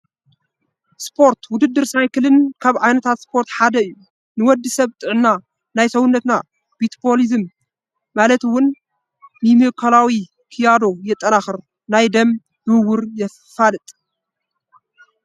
ስፖርት፡- ውድድር ሳይክን ካብ ዓ/ታት ስፖርት ሓደ እዩ፡፡ ንወዲ ሰብ ንጥዕና፣ ናይ ሰውነትና "ሚታቦሊዝም" ማለት ውን ሜሚካላዊ ክያዶ የጠናኽር፣ ናይ ደም ዝውውር የፋጥን፡፡